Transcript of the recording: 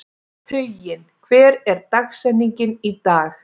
Huginn, hver er dagsetningin í dag?